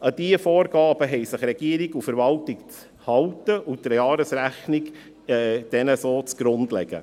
An diese Vorgaben haben sich Regierung und Verwaltung zu halten, und der Jahresrechnung diesen so zu Grunde zu legen.